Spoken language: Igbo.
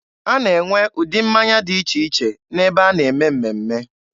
A na-enwe ụdị mmanya dị iche iche n'ebe a na-eme mmemme.